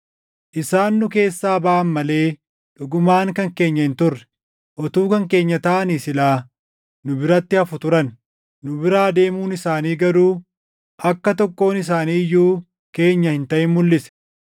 Isaan nu keessaa baʼan malee dhugumaan kan keenya hin turre. Utuu kan keenya taʼanii silaa nu biratti hafu turan; nu biraa deemuun isaanii garuu akka tokkoon isaanii iyyuu keenya hin taʼin mulʼise.